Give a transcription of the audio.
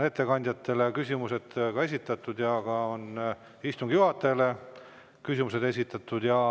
Ettekandjatele on küsimused esitatud ja ka istungi juhatajale on küsimused esitatud.